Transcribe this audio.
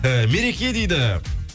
і мереке дейді